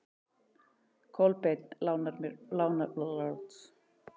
Kolbeinn lánar bók, og hvað þá þessa bók.